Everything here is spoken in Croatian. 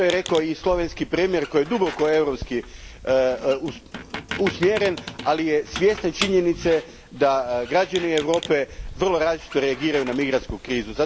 To je rekao i slovenski premijer koji je duboko europski usmjeren, ali je svjestan činjenice da građani Europe vrlo različito reagiraju na migrantsku krizu.